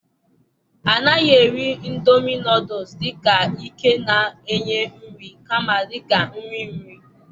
A naghị eri indomie noodles dị ka ike na-enye nri, kama dị ka nri nri.